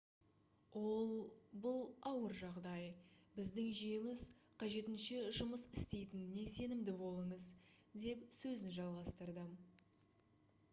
ол бұл ауыр жағдай біздің жүйеміз қажетінше жұмыс істейтініне сенімді болыңыз - деп сөзін жалғастырды